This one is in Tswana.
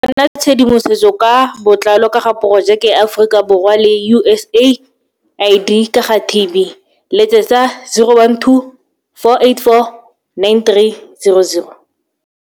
Go bona tshedimosetso ka botlalo ka ga Porojeke ya Aforika Borwa le USAID ka ga TB, letsetsa 012 484 9300.